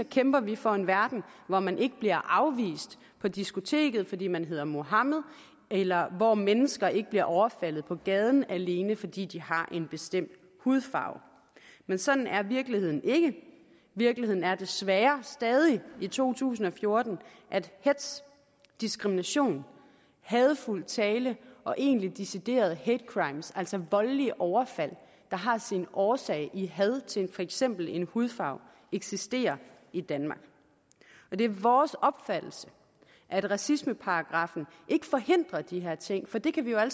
kæmper vi for en verden hvor man ikke bliver afvist på diskoteket fordi man hedder muhammed eller hvor mennesker ikke bliver overfaldet på gaden alene fordi de har en bestemt hudfarve men sådan er virkeligheden ikke virkeligheden er desværre stadig i to tusind og fjorten at hetz diskrimination hadefuld tale og egentlige deciderede hate crimes altså voldelige overfald der har sin årsag i had til for eksempel en hudfarve eksisterer i danmark det er vores opfattelse at racismeparagraffen ikke forhindrer de her ting for det kan vi jo